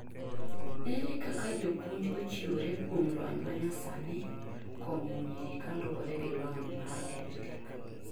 ere kaka jopunj ochiwore kuom lony manyasani konyo nyiri kaluwore gi lony mar edtech?